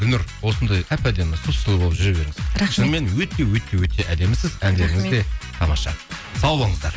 гүлнұр осындай әп әдемі сұп сұлу болып жүре беріңіз рахмет шынымен өте өте өте өте әдемісіз әндеріңіз де тамаша сау болыңыздар